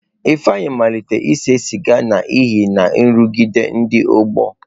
Ifeanyi malitere ise siga n'ihi nrụgide ndị ọgbọ.